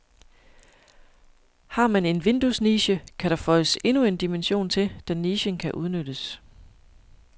Har man en vinduesniche, kan der føjes endnu en dimension til, da nichen kan udnyttes.